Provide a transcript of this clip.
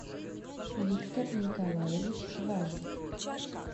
виктор николаевич важин